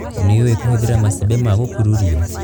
Nĩũĩ kũhũthĩra macembe ma gũkururio.